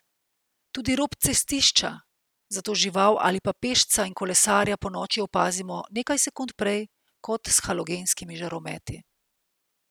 Tudi rob cestišča, zato žival ali pa pešca in kolesarja ponoči opazimo nekaj sekund prej kot s halogenskimi žarometi.